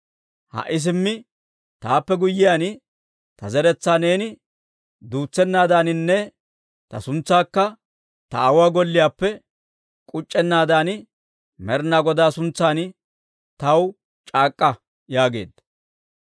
Ha"i simmi taappe guyyiyaan, ta zeretsaa neeni duutsennaadaaninne ta suntsaakka ta aawuwaa golliyaappe k'uc'c'ennaadan Med'inaa Godaa suntsan taw c'aak'k'a» yaageedda.